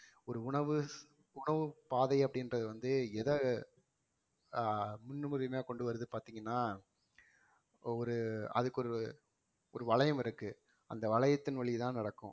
ஒரு உணவு உணவுப் பாதை அப்படின்றது வந்து எதை அஹ் முன்னுரிமையா கொண்டு வருது பாத்தீங்கன்னா ஒரு அதுக்கு ஒரு ஒரு வளையம் இருக்கு அந்த வளையத்தின் வழி தான் நடக்கும்